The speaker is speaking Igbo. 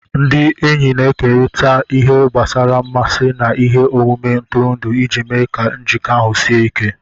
Ndị enyi na-ekerịta ihe gbasara mmasị na ihe omume ntụrụndụ iji mee ka njikọ ahụ sie ike